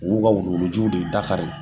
Wuu ka wu worouguju de ye dafa ye